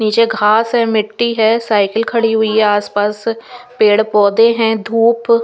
निचे घास है मिटी है साइकिल खड़ी हुई है आस पास पेड़ पौधे है धुप--